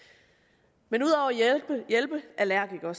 men at hjælpe allergikere